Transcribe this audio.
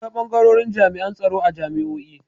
Akwai bangarorin jami'an tsaro a jami'o'i.